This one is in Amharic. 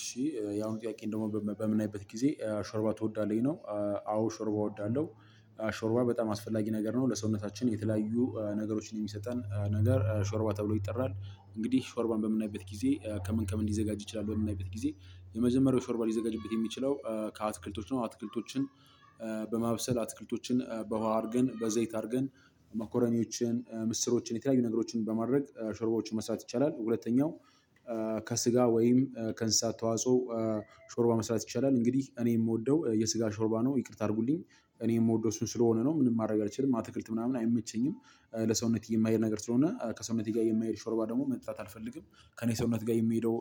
እሺ ያው ጥያቄን ደሞ በምናይበት ጊዜ ሾርባ ትወዳለህ ነው አዎ ሾርባ እወዳለሁ። ሾርባ በጣም አስፈላጊ ነገር ነው። ለሰውነታችን የተለያዩ ነገሮችን የሚሰጠን ነገር ሾርባ ተብሎ ይጠራል። እንግዲህ ሾርባን በምናይበት ጊዜ ከምን ከምን ሊዘጋጅ ይችላል? በምናይበት ጊዜ የመጀመሪያው ሾርባ ሊዘጋጅበት የሚችለው ከአትክልቶች ነው። አትክልቶችን በማብሰል አትክልቶችን በውሃ አድርገን በዘይት አድርገን መኮረኞችን ምስሮችን የተለያዩ ነገሮችን በማድረግ ሾርባዎችን መስራት ይቻላል። ሁለተኛው ከስጋ ወይም ከእንስሳት ተዋጽኦ ሾርባ መስራት ይቻላል። እንግዲህ እኔ እምወደው የስጋ ሾርባ ነው። ይቅርታ አድርጉልኝ እኔ እምወደው እሱን ስለሆነ ነው። ምንም ማድረግ አልችልም። አትክልት ምናምን አይመቸኝም ለሰውነት የማይሄድ ነገር ስለሆነ ከሰውነት ጋር የማይሄድ ሾርባ ደግሞ መጥታት አልፈልግም። ከእኔ ሰውነት ጋር የምሄደው